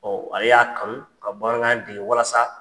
Ɔ ale y'a kanu ka bamanankan dege walasa